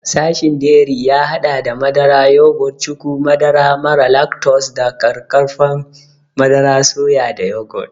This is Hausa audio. Sashin dairy ya haɗa da madara, yogurt, cuku, madara mara lactose da ƙaƙƙarfan madarar soya da yogurt.